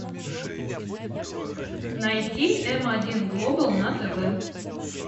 найти м один глобал на тв